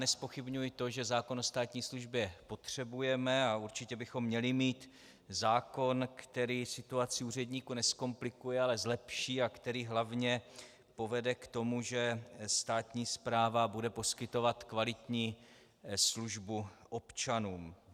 Nezpochybňuji to, že zákon o státní službě potřebujeme a určitě bychom měli mít zákon, který situaci úředníků nezkomplikuje, ale zlepší a který hlavně povede k tomu, že státní správa bude poskytovat kvalitní službu občanům.